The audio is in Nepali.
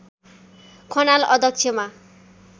खनाल अध्यक्षमा